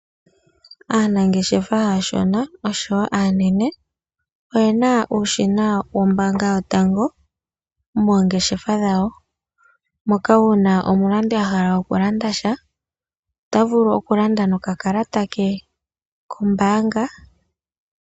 Aanangeshefa aashona osho wo aanene oyena uushina wombanga yotango yopashigwana moongeshefa dhawo, moka uuna omulandi ahala oku landa sha, ota vulu oku landa noka kalata ke kombanga.